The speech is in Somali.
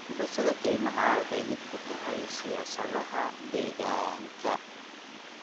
Gubashada keymaha waxay lid ku tahay siyaasadaha deegaanka.